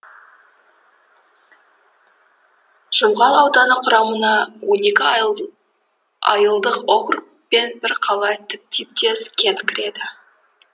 жұмғал ауданы құрамына он екі айылдық округ пен бір қала типтес кент кіреді